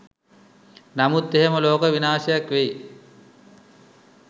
නමුත් එහෙම ලෝක විනාශයක් වෙයි